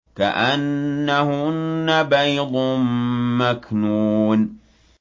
كَأَنَّهُنَّ بَيْضٌ مَّكْنُونٌ